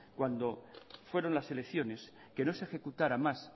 cuando fueron las elecciones que no se ejecutará más